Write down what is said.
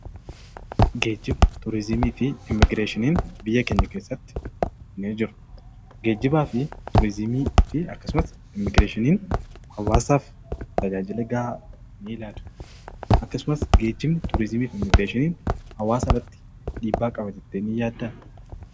Geejjiba, turizimii fi immigireeshiniin biyya keenya keessatti ni jiru. Geejjibaa fi turizimiifi akkasumas immigireeshiniin hawaasaf tajaajila gahaa nii laatu. Akkasumas geejjibni, turizimiif immigireeshiniin hawaasarratti dhiibbaa qaba jettee nii yaaddaa?